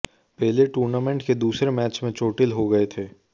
पेले tournament के दूसरे match में चोटिल हो गए थे